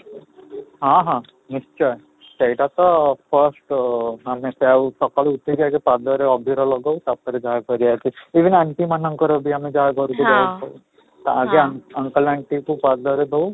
ହଁ ହଁ, ନିଶ୍ଚୟ ସେଇଟା ତ frist ଆମେ ତ ଆଉ ସକାଳୁ ଉଠିକି ଆଗ ପାଦ ରେ ଅଭିର ଲଗଉ ତାପରେ ଯାହା କରିବାକୁ କାହିଁକି ନା anti ମାନଙ୍କର ବି ଆମେ ଯାହା ଘରକୁ ଯାଇଥାଉ ତାହା ବି uncle anti ଙ୍କ ପାଦରେ ଦଉ